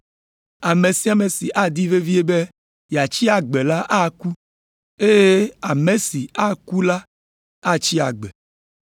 Ame sia ame si adi vevie be yeatsi agbe la aku, eye ame si aku la atsi agbe.